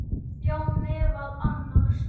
Já, meðal annars.